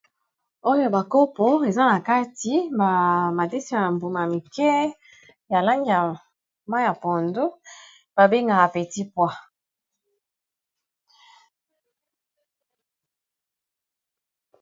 oyo ba kopo eza na kati ba madese ya mbuma mike ya langa mai ya pondu babengaka petit poa